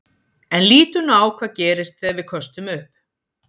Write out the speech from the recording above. En lítum nú á hvað gerist þegar við köstum upp.